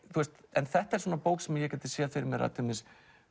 en þetta er bók sem ég gæti séð fyrir mér